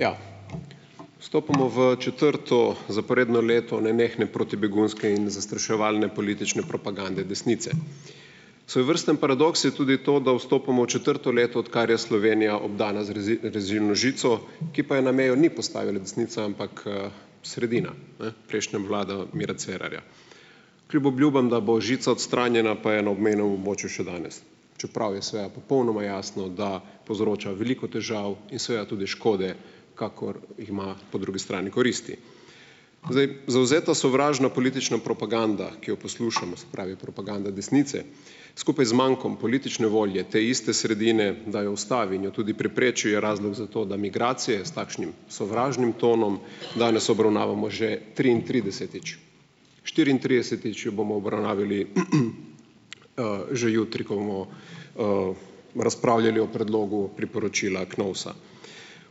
Ja, Vstopamo v četrto zaporedno leto nenehne protibegunske in zastraševalne politične propagande desnice. Svojevrsten paradoks je tudi to, da vstopamo v četrto leto, odkar je Slovenija obdana z rezilno žico, ki pa je na mejo ni postavila desnica, ampak, sredina, ne, prejšnja vlada Mira Cerarja. Kljub obljubam, da bo žica odstranjena, pa je na obmejnem območju še danes, čeprav je seveda popolnoma jasno, da povzroča veliko težav in seveda tudi škode, kakor jih ima po drugi strani koristi. Zdaj zavzeta sovražna politična propaganda, ki jo poslušamo, se pravi propaganda desnice, skupaj z mankom politične volje te iste sredine, da jo ustavi in jo tudi prepreči, je razlog za to, da migracije s takšnim sovražnim tonom danes obravnavamo že triintridesetič, štiriintridesetič jo bomo obravnavali, že jutri, ko bomo, razpravljali o predlogu priporočila KNOVS-a.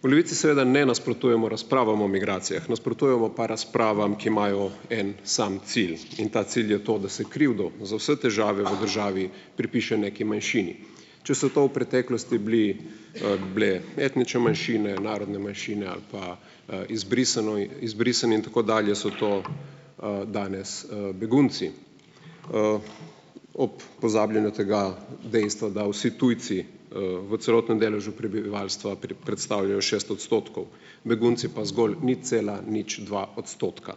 V Levici seveda ne nasprotujemo razpravam o migracijah, nasprotujemo pa razpravam, ki imajo en sam cilj, in ta cilj je to, da se krivdo za vse težave v državi pripiše neki manjšini. Če so to v preteklosti bili, bile etnične manjšine, narodne manjšine ali pa, izbrisanoj, izbrisani in tako dalje, so to, danes, begunci, ob pozabljanju tega dejstva, da vsi tujci, v celotnem deležu prebivalstva predstavljajo šest odstotkov, begunci pa zgolj nič cela nič dva odstotka.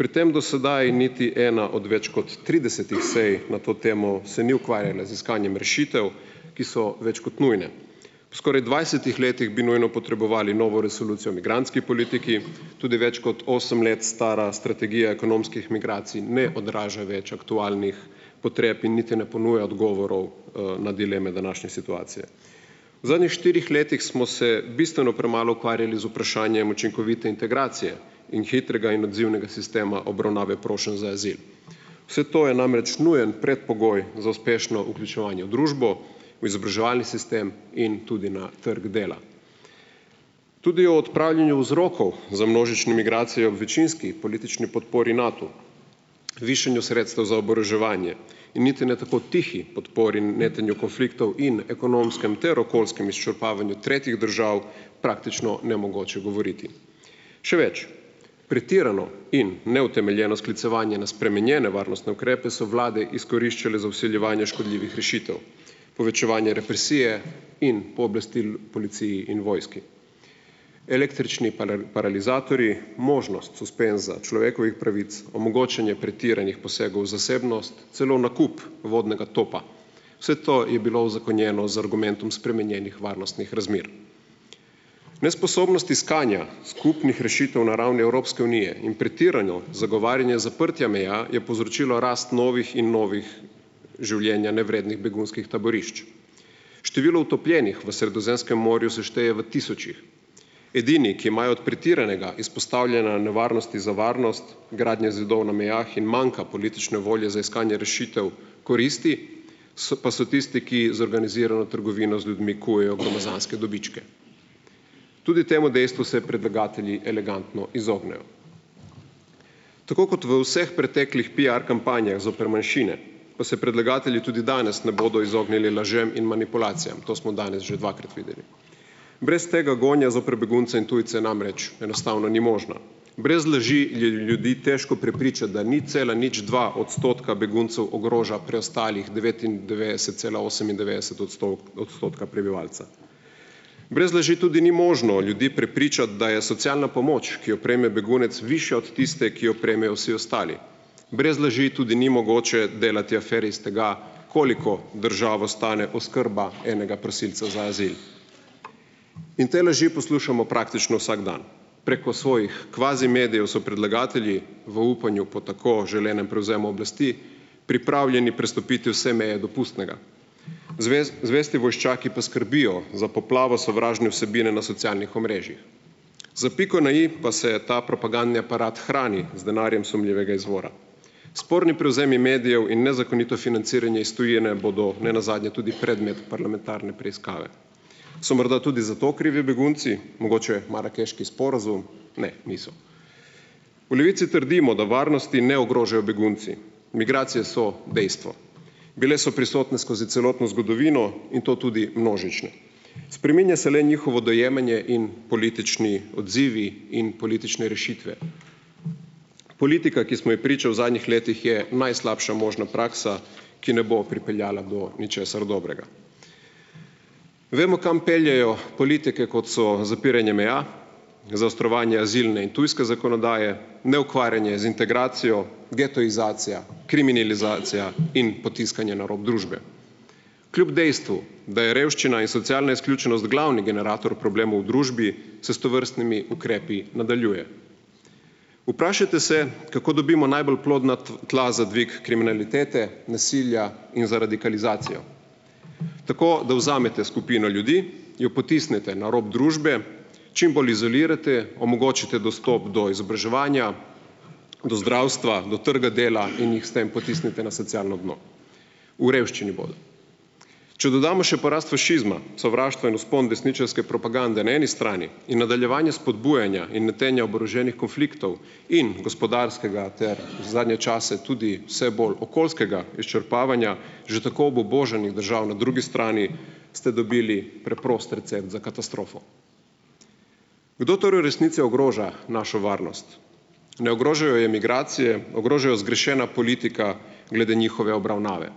Pri tem do sedaj niti ena od več kot tridesetih sej na to temo se ni ukvarjala z iskanjem rešitev, ki so več kot nujne. Po skoraj dvajsetih letih bi nujno potrebovali novo resolucijo o migrantski politiki. Tudi več kot osem let stara strategija ekonomskih migracij ne odraža več aktualnih potreb in niti ne ponuja odgovorov, na dileme današnje situacije. V zadnjih štirih letih smo se bistveno premalo ukvarjali z vprašanjem učinkovite integracije in hitrega in odzivnega sistema obravnave prošenj za azil. Vse to je namreč nujen predpogoj za uspešno vključevanje v družbo, v izobraževalni sistem in tudi na trgu dela. Tudi o odpravljanju vzrokov za množične migracije ob večinski politični podpori Natu, višanju sredstev za oboroževanje in niti ne tako tihi podpori netenju konfliktov in ekonomskem ter okoljskem izčrpavanju tretjih držav praktično nemogoče govoriti. Še več, pretirano in neutemeljeno sklicevanje na spremenjene varnostne ukrepe so vlade izkoriščale za vsiljevanje škodljivih rešitev, povečevanje represije in pooblastil policiji in vojski. Električni paralizatorji, možnost suspenza človekovih pravic, omogočanje pretiranih posegov v zasebnost, celo nakup vodnega topa, vse to je bilo uzakonjeno z argumentom spremenjenih varnostnih razmer. Nesposobnost iskanja skupnih rešitev na ravni Evropske unije in pretirano zagovarjanje zaprtja meja je povzročilo rast novih in novih življenja nevrednih begunskih taborišč. Število utopljenih v Sredozemskem morju se šteje v tisočih. Edini, ki imajo od pretiranega izpostavljanja nevarnosti za varnost, gradnje zidov na mejah in manka politične volje za iskanje rešitev koristi, so pa so tisti, ki z organizirano trgovino z ljudmi kujejo gromozanske dobičke. Tudi temu dejstvu se predlagatelji elegantno izognejo. Tako kot v vseh preteklih piar kampanjah zoper manjšine, pa se predlagatelji tudi danes ne bodo izognili lažem in manipulacijam. To smo danes že dvakrat videli. Brez tega gonja zoper begunce in tujce namreč enostavno ni možna. Brez laži je ljudi težko prepričati, da nič cela nič dva odstotka beguncev ogroža preostalih devetindevetdeset cela osemindevetdeset odstotka prebivalstva. Brez laži tudi ni možno ljudi prepričati, da je socialna pomoč, ki jo prejme begunec, višja od tiste, ki jo prejmejo vsi ostali. Brez laži tudi ni mogoče delati afer iz tega, koliko državo stane oskrba enega prosilca za azil. In te laži poslušamo praktično vsak dan. Preko svojih kvazi medijev so predlagatelji v upanju po tako želenem prevzemu oblasti pripravljeni prestopiti vse meje dopustnega, zvesti vojščaki pa skrbijo za poplavo sovražne vsebine na socialnih omrežjih. Za piko na i pa se ta propagandni aparat hrani z denarjem sumljivega izvora. Sporni prevzemi medijev in nezakonito financiranje iz tujine bodo ne nazadnje tudi predmet parlamentarne preiskave. So morda tudi za to krivi begunci, mogoče marakeški sporazum? Ne, niso. V Levici trdimo, da varnosti ne ogrožajo begunci. Migracije so dejstvo. Bile so prisotne skozi celotno zgodovino in to tudi množične. Spreminja se le njihovo dojemanje in politični odzivi in politične rešitve. Politika, ki smo ji priča v zadnjih letih, je najslabša možna praksa, ki ne bo pripeljala do ničesar dobrega. Vemo, kam peljejo politike, kot so zapiranje meja, zaostrovanje azilne in tujske zakonodaje, neukvarjanje z integracijo, getoizacija, kriminalizacija in potiskanje na rob družbe. Kljub dejstvu, da je revščina in socialna izključenost glavni generator problemov v družbi se s tovrstnimi ukrepi nadaljuje. Vprašajte se, kako dobimo najbolj plodna tla za dvig kriminalitete, nasilja in za radikalizacijo. Tako da vzamete skupino ljudi, jo potisnete na rob družbe, čim bolj izolirate, omogočite dostop do izobraževanja, do zdravstva, do trga dela in jih s tem potisnete na socialno dno. V revščini bodo. Če dodamo še porast fašizma, sovraštva in vzpon desničarske propagande na eni strani in nadaljevanje spodbujanja in netenja oboroženih konfliktov in gospodarskega ter zadnje čase tudi vse bolj okoljskega izčrpavanja že tako obubožanih držav na drugi strani, ste dobili preprost recept za katastrofo. Kdo torej v resnici ogroža našo varnost? Ne ogrožajo je migracije, ogroža jo zgrešena politika glede njihove obravnave.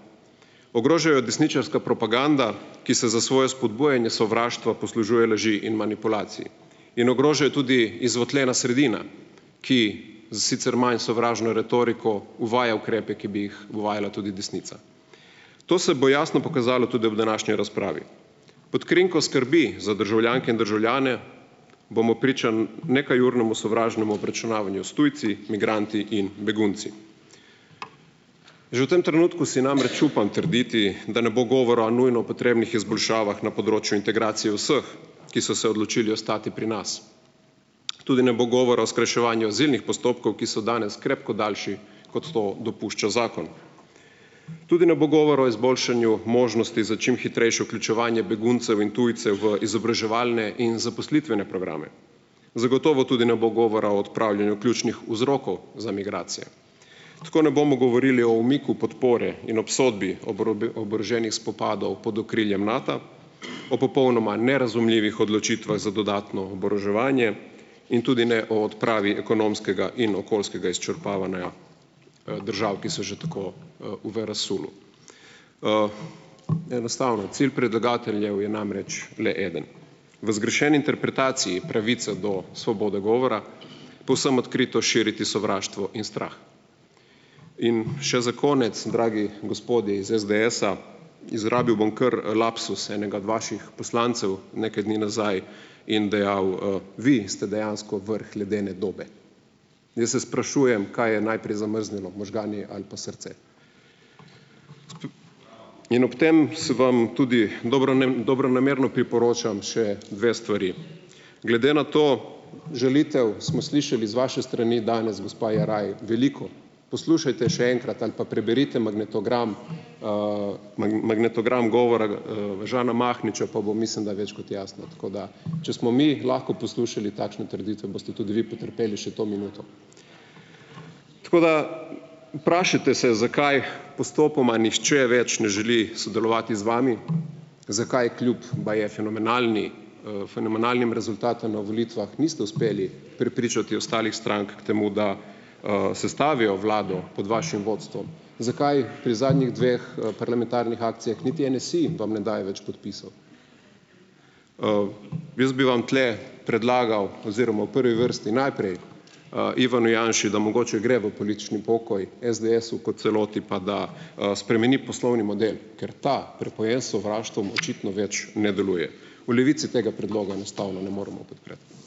Ogroža jo desničarska propaganda, ki se za svoje spodbujanje sovraštva poslužuje laži in manipulacij, in ogroža jo tudi izvotljena sredina, ki s sicer manj sovražno retoriko uvaja ukrepe, ki bi jih uvajala tudi desnica. To se bo jasno pokazalo tudi ob današnji razpravi. Pod krinko skrbi za državljanke in državljane bomo priča nekajurnemu sovražnemu obračunavanju s tujci, migranti in begunci. Že v tem trenutku si namreč upam trditi, da ne bo govora o nujno potrebnih izboljšavah na področju integracije vseh, ki so se odločili ostati pri nas. Tudi ne bo govora o skrajševanju azilnih postopkov, ki so danes krepko daljši, kot to dopušča zakon. Tudi ne bo govora o izboljšanju možnosti za čim hitrejšo vključevanje beguncev in tujcev v izobraževalne in zaposlitvene programe. Zagotovo tudi ne bo govora o odpravljanju ključnih vzrokov za migracije. Tako ne bomo govorili o umiku podpore in obsodbi oboroženih spopadov pod okriljem Nata, o popolnoma nerazumljivih odločitvah za dodatno oboroževanje in tudi ne o odpravi ekonomskega in okoljskega izčrpavanja, držav, ki so že tako, v, v razsulu. Enostavno, cilj predlagateljev je namreč le eden. V zgrešeni interpretaciji pravice do svobode govora povsem odkrito širiti sovraštvo in strah. In še za konec, dragi gospodje is SDS-a, izrabil bom kar lapsus enega od vaših poslancev nekaj dni nazaj, in dejal: vi ste dejansko vrh ledene dobe." Jaz se sprašujem, kaj je najprej zamrznjeno, možgani ali pa srce. In ob tem vam tudi dobronamerno priporočam še dve stvari. Glede na to ... Žalitev smo slišali z vaše strani danes, gospa Jeraj, veliko. Poslušajte še enkrat ali pa preberite magnetogram, magnetogram govora, Žana Mahniča, pa bo, mislim da, več kot jasno. Tako da če smo mi lahko poslušali takšne trditve, boste tudi vi potrpeli še to minuto. Tako da vprašajte se, zakaj postopoma nihče več ne želi sodelovati z vami, zakaj kljub, baje, fenomenalni, fenomenalnim rezultatom na volitvah niste uspeli prepričati ostalih strank k temu, da, sestavijo vlado pod vašim vodstvom, zakaj pri zadnjih dveh, parlamentarnih akcijah niti NSi vam ne daje več podpisov. Jaz bi vam tule predlagal oziroma v prvi vrsti najprej, Ivanu Janši, da mogoče gre v politični pokoj, SDS-u kot celoti pa, da, spremeni poslovni model. Ker ta, prepojen s sovraštvom, očitno več ne deluje. V Levici tega predloga enostavno ne moremo podpreti.